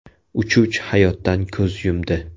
Uchuvchi hayotdan ko‘z yumdi.